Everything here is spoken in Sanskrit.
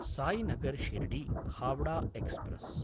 सायिनगर् शिर्डी–हावडा एक्स्प्रेस्